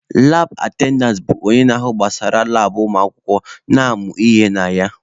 Laab atendantị bụ onye na-ahụ gbasara labụ ụmụakwụkwọ na-amụ ihe na ya.